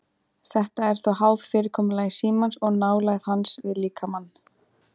Þetta er þó háð fyrirkomulagi símans og nálægð hans við líkamann.